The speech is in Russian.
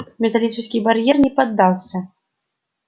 металлический барьер не поддался